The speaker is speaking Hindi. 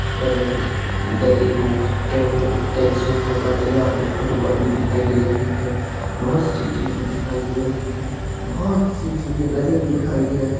गले को गधे को में बंद है यहाँ पर एक फुटबॉल भी दिखाई दे रही है बहोत सी चीजे दिखाई है बहोत सी चीज़े गधे भी दिखाई दे रहे है।